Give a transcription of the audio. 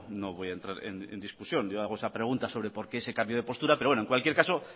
no voy a entrar en discusión yo hago esa pregunta sobre por qué se cambio de postura pero en cualquier caso